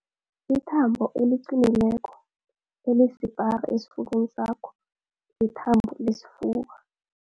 Ithambo eliqinileko elisipara esifubeni sakho lithambo lesifuba